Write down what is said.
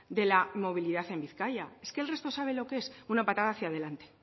de la movilidad en bizkaia es que el resto sabe lo que es una patada hacia adelante